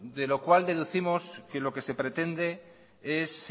de lo cual deducimos que lo que se pretende es